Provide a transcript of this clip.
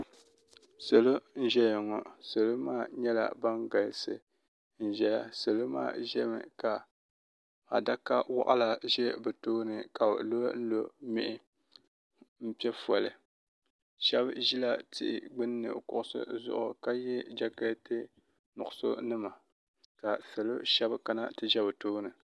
salo n.ʒɛya ŋɔ salo maa nyɛla ban galisi m ʒɛya salo maa nyɛŋa adaka waɣila ʒɛya ka lolo mɛhi n pɛƒɔli shɛbi ʒɛla tihi gbani kuɣ' si zuɣ ka yɛ jakɛtɛnima ka salo ahɛbi kana ti ʒɛ be tuuni